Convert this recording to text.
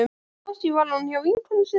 Kannski var hún hjá vinkonu sinni.